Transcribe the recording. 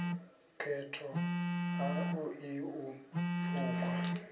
khetho ha ṱoḓi u pfukwa